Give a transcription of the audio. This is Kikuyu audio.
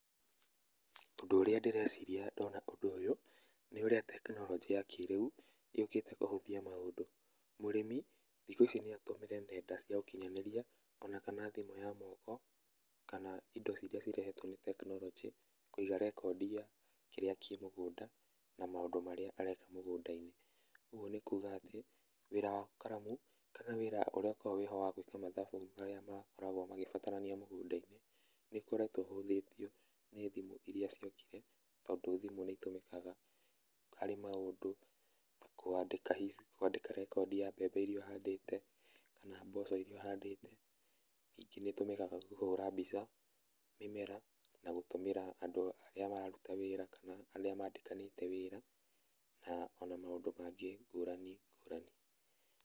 Ũndũ ũrĩa ndĩreciria ndona ũndũ ũyũ, nĩ ũrĩa tekinoronjĩ ya kĩrĩu yũkĩte kũhũthia maũndũ. Mũrĩmi thikũ ici no atũmĩre nenda cia ũkinyanĩria ona kana thimũ ya moko kana indo irĩa cirehetwo nĩ tekinoronjĩ, kũiga rekondi ya kĩrĩa kĩ mũgũnda na maũndũ marĩa areka mũgũnda-inĩ. Ũguo nĩ kuuga atĩ, wĩra wa karamu kana wĩra ũrĩa ũkoragwo wĩho wa gwĩka mathabu marĩa makoragwo magĩbatarania mũgũnda-inĩ nĩ ũkoretwo ũhũthĩtio nĩ thĩmũ irĩa ciokire, tondũ thimũ nĩ itũmĩkaga harĩ maũndũ ta kwandĩka hihi rekondi ya mbembe irĩa ũhandĩte kana mboco irĩa ũhandĩte. Ningĩ nĩ ĩtũmĩkaga kũhũra mbica mĩmera na gũtũmĩra andũ arĩa mararuta wĩra kana arĩa mandĩkanĩte wĩra, na ona maũndũ mangĩ ngũrani ngũrani.